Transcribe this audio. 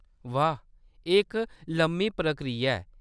वाह, एह्‌‌ इक लम्मी प्रक्रिया ऐ ।